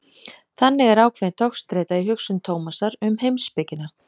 Þannig er ákveðin togstreita í hugsun Tómasar um heimspekina.